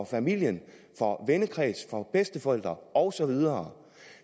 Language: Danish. familien for vennekreds for bedsteforældre og så videre